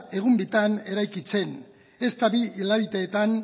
egun bitan eraikitzen ezta bi hilabeteetan